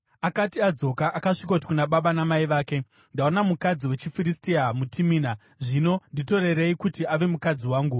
Akati adzoka, akasvikoti kuna baba namai vake, “Ndaona mukadzi wechiFiristia muTimina; zvino nditorerei kuti ave mukadzi wangu.”